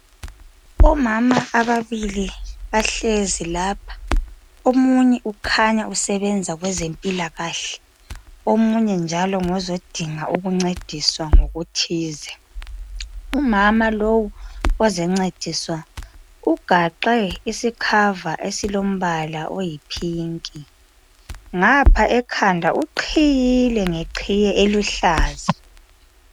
Omama ababili bahlezi lapha. Omunye ukhanya usebenza kwezempilakahle. Omunye njalo ngozodinga ukuncediswa ngokuthize. Umama lowu ozoncediswa ugaxe isikhava esilombala oyipinki. Ngapha ekhanda uqhiyile ngeqhiye eluhlaza.